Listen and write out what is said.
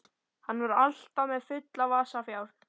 Hann var alltaf með fulla vasa fjár.